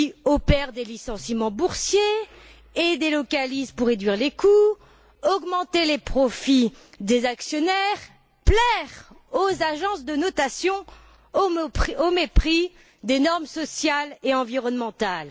opèrent des licenciements boursiers et délocalisent pour réduire les coûts, augmenter les profits des actionnaires et plaire aux agences de notation, au mépris des normes sociales et environnementales.